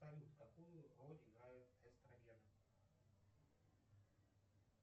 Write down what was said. салют какую роль играют эстрогены